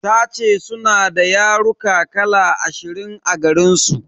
Tace suna da yaruka kala ashirin a garinsu.